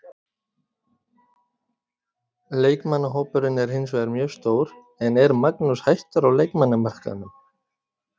Leikmannahópurinn er hinsvegar mjög stór en er Magnús hættur á leikmannamarkaðnum?